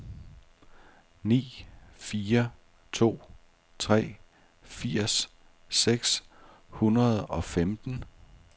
ni fire to tre firs seks hundrede og femten